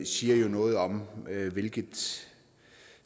siger noget om hvilken